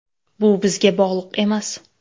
Bu bizga bog‘liq emas.